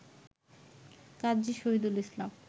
কাজী Shahidul ইসলাম